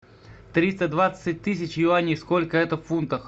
триста двадцать тысяч юаней сколько это в фунтах